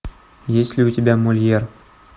есть ли у тебя мольер